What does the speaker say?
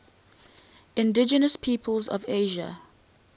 indigenous peoples of asia